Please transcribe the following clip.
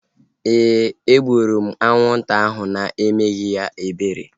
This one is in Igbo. Éè, e gburu m anwụnta ahu na-emeghị ya ebere